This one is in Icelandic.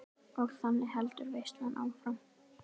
Og þannig heldur veislan áfram.